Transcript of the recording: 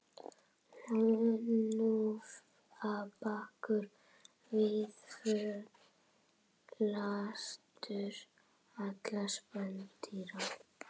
Hnúfubakur víðförlastur allra spendýra